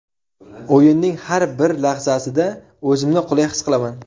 O‘yinning har bir lahzasida o‘zimni qulay his qilaman.